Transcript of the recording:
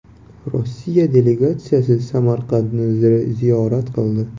Rossiya delegatsiyasi Samarqandni ziyorat qildi .